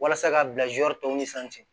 Walasa ka bila zuwɛr tɔw ni sanfɛ